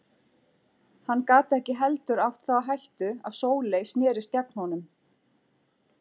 Hann gat ekki heldur átt það á hættu að Sóley snerist gegn honum.